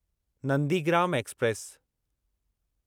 Nandigram express